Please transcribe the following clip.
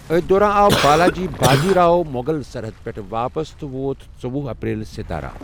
أتھۍ دوران آو بالاجی باجی راؤ مغل سرحدٕ پیٹھٕ واپس، تہٕ وۄت ژوۄہ اپریل ستارہ۔